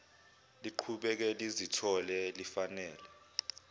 liqhubeke lizithole lifanele